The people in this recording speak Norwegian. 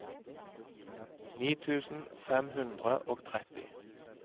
ni tusen fem hundre og tretti